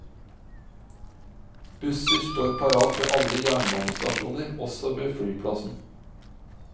Busser står parat ved alle jernbanestasjoner, også på flyplassen.